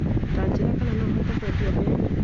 Tanjĩra kana no hote kwendĩa mbembe